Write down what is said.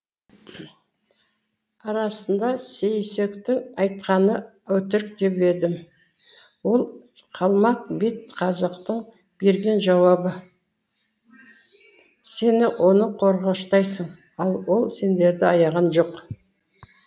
арасында сейсектің айтқаны өтірік деп едім ол қалмақ бет қазақтың берген жауабы сен оны қорғаштайсың ал ол сендерді аяған жоқ